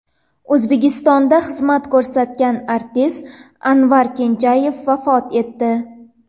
O‘zbekistonda xizmat ko‘rsatgan artist Anvar Kenjayev vafot etdi.